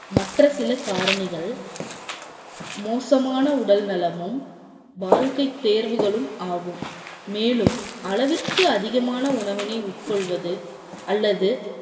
மற்ற சில காரணிகள், மோசமான உடல் நலமும், வாழ்க்கை தேர்வுகளும் ஆகும். மேலும் அளவிற்கு அதிகமான உணவினை உட்கொள்வது அல்லது